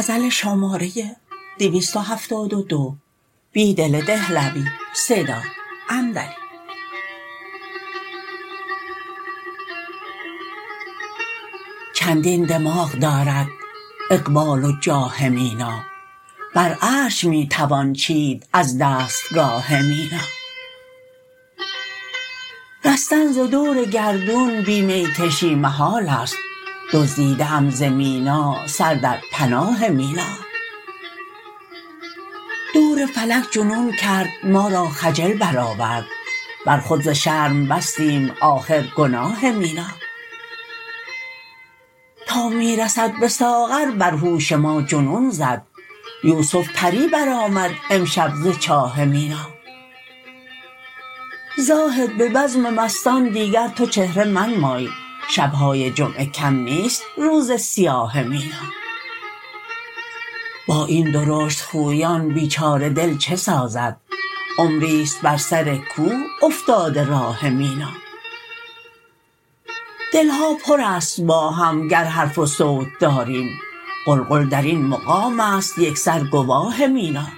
چندین دماغ دارد اقبال و جاه مینا بر عرش می توان چید از دستگاه مینا رستن ز دورگردون بی می کشی محال است دزدیده ام ز مینا سر در پناه مینا دورفلک جنون کرد ما را خجل برآورد برخود زشرم بستیم آخرگناه مینا تا می رسد به ساغربرهوش ما جنون زد یوسف پری برآمد امشب زچاه مینا زاهد به بزم مستان دیگرتو چهره منمای شبهای جمعه کم نیست روز سیاه مینا با این درشت خویان بیچاره دل چه سازد عمری ست بر سرکوه افتاده راه مینا دلها پر است باهم گرحرف و صوت داریم قلقل درین مقام است یکسرگواه مینا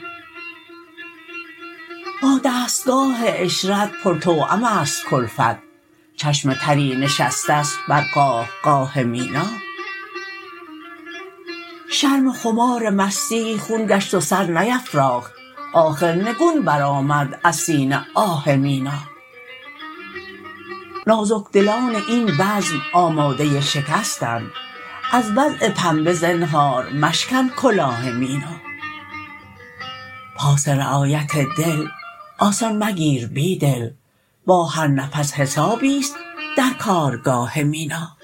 با دستگاه عشرت پر توام است کلفت چشم تری نشسته شت بر قاه قاه مینا شرم خمار مستی خون گشت و سر نیفراخت آخرنگون برآمد ازسینه آه مینا نازکدلان این بزم آماده شکستند از وضع پنبه زنهار مشکن کلاه مینا پاس رعایت دل آسان مگیر بیدل با هر نفس حسابی ست درکارگاه مینا